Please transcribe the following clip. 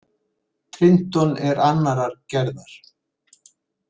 Trinton er annarrar gerðar.